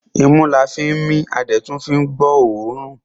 Imú la fín mí a dẹ̀ tún fín gbọ́ ọ̀ọ́rùn.